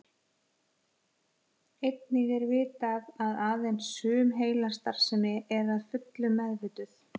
Einnig er vitað að aðeins sum heilastarfsemi er að fullu meðvituð.